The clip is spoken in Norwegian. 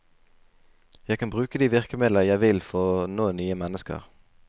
Jeg kan bruke de virkemidler jeg vil for å nå nye mennesker.